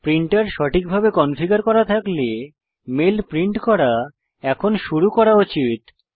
printer সঠিকভাবে configure করা থাকলে মেল প্রিন্ট করা এখন শুরু করা উচিত